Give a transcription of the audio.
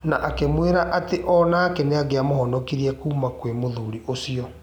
Na akĩmwĩra atĩ onake nĩangiamũhonokirie kuuma mwĩ mũthuri ũcio.